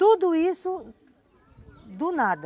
Tudo isso, do nada.